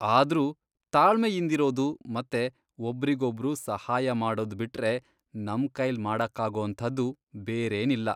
ಆದ್ರೂ ತಾಳ್ಮೆಯಿಂದಿರೋದು ಮತ್ತೆ ಒಬ್ರಿಗೊಬ್ರು ಸಹಾಯ ಮಾಡೋದ್ ಬಿಟ್ರೆ ನಮ್ಕೈಲ್ ಮಾಡಕ್ಕಾಗೋಂಥದ್ದು ಬೇರೇನಿಲ್ಲ.